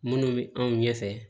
Minnu bɛ anw ɲɛfɛ